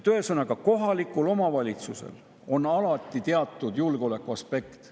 Ühesõnaga, kohalikul omavalitsusel on alati teatud julgeolekuaspekt.